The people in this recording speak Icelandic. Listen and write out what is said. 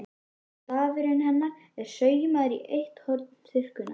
Stafurinn hennar er saumaður í eitt horn þurrkunnar.